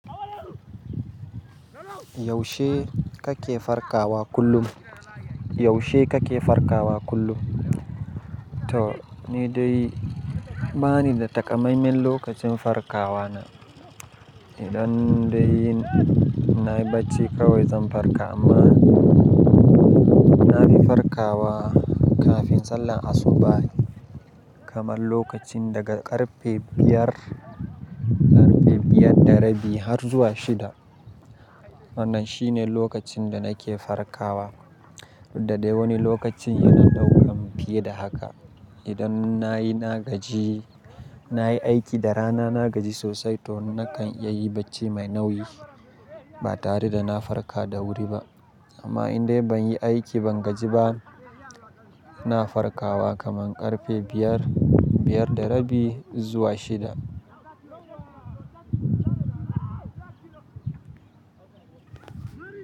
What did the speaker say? Yaushe kake farkawa kullum? Yaushe kake farkawa kullum? To ni dai bani da takamaiman lokacin farkawa na. Idan dai nayi bacci kawai zan farka amma, nafi farkawa kafin sallar asubahi. Kamar lokacin daga ƙarfe biyar, ƙarfe biyar da rabi har zuwa shida. Wannan shine lokacin da nake farkawa. Da dai wani lokacin yana ɗaukan fiye da haka. Idan nayi na gaji, nayi aiki da rana na gaji sosai to nakan iya yi bacci mai nauyi ba tare da na farka da wuri ba. Amma in dai ban yi aiki ban gaji ba, na farkawa kaman ƙarfe biyar, biyar da rabi zuwa shida.